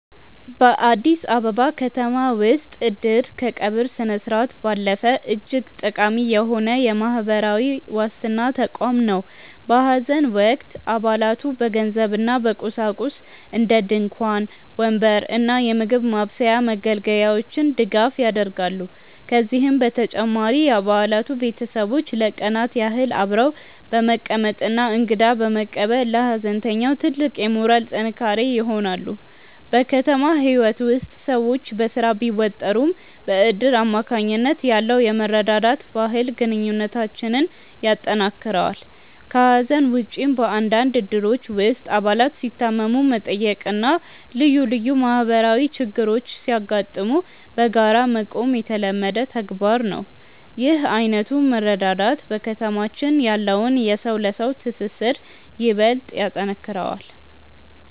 በአዲስ አበባ ከተማ ውስጥ "እድር" ከቀብር ስነስርዓት ባለፈ እጅግ ጠቃሚ የሆነ የማህበራዊ ዋስትና ተቋም ነው። በሐዘን ወቅት አባላቱ በገንዘብና በቁሳቁስ (እንደ ድንኳን፣ ወንበር እና የምግብ ማብሰያ መገልገያዎች) ድጋፍ ያደርጋሉ። ከዚህም በተጨማሪ የአባላቱ ቤተሰቦች ለቀናት ያህል አብረው በመቀመጥና እንግዳ በመቀበል ለሐዘንተኛው ትልቅ የሞራል ጥንካሬ ይሆናሉ። በከተማ ህይወት ውስጥ ሰዎች በስራ ቢወጠሩም፣ በእድር አማካኝነት ያለው የመረዳዳት ባህል ግንኙነታችንን ያጠናክረዋል። ከሐዘን ውጭም፣ በአንዳንድ እድሮች ውስጥ አባላት ሲታመሙ መጠየቅና ልዩ ልዩ ማህበራዊ ችግሮች ሲያጋጥሙ በጋራ መቆም የተለመደ ተግባር ነው። ይህ ዓይነቱ መረዳዳት በከተማችን ያለውን የሰው ለሰው ትስስር ይበልጥ ያጠነክረዋል።